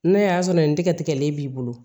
N'a y'a sɔrɔ nin tɛgɛ tigɛlen b'i bolo